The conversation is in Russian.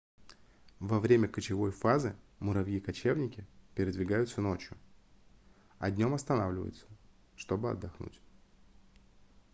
во время кочевой фазы муравьи-кочевники передвигаются ночью а днём останавливаются чтобы отдохнуть